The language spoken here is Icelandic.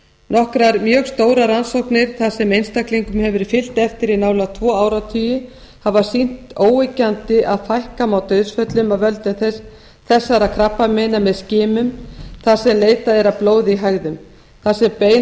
nokkrar mjög stórar rannsóknir þar sem einstaklingum hefur verið fylgt eftir í nálægt tvo áratugi hafa sýnt óyggjandi að fækka má dauðsföllum af völdum þessara krabbameina með skilur þar sem leitað er að blóði í hægðum þar sem bein áhætta